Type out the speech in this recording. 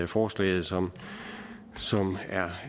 forslaget som